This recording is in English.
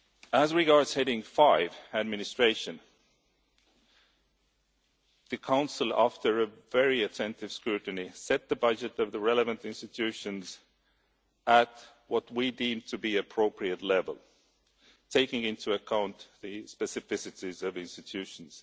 As regards heading 5, Administration, the Council, after a very attentive scrutiny, set the budget of the relevant institutions at what we deem to be an appropriate level, taking into account the specificities of institutions.